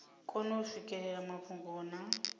kone u swikelela mafhungo na